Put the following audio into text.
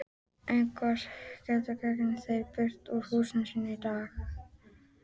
Einsog hetjur ganga þeir burt úr húsum sínum á daginn.